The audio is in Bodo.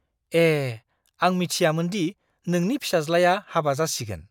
ए! आं मिथियामोन दि नोंनि फिसाज्लाया हाबा जासिगोन!